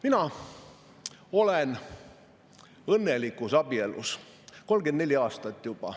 Mina olen õnnelikus abielus juba 34 aastat.